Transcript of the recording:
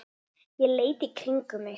Ég leit í kringum mig.